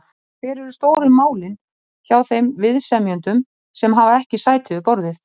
En hver eru stóru málin hjá þeim viðsemjendum sem hafa ekki sæti við borðið?